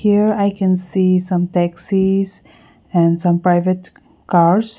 here i can see some taxies and some private cars.